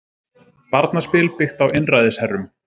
Barnaspil byggt á einræðisherrum